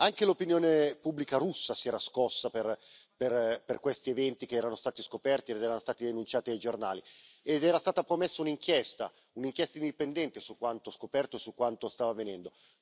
Anche l'opinione pubblica russa si era scossa per questi eventi che erano stati scoperti ed erano stati denunciati ai giornali ed era stata promessa un'inchiesta indipendente su quanto scoperto e su quanto stava avvenendo.